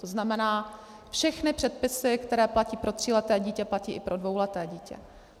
To znamená, všechny předpisy, které platí pro tříleté dítě, platí i pro dvouleté dítě.